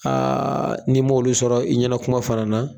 n'i m'olu sɔrɔ i ɲɛna kuma fana na